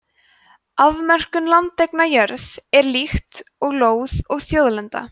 afmörkun landeigna jörð er líkt og lóð og þjóðlenda